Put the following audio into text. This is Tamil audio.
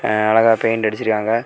எ அழகா பெயிண்ட் அடிச்சிருக்காங்க.